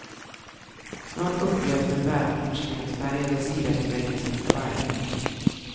Snart upplevs den bärnstensfärgade sirapsväggen som kvalmig.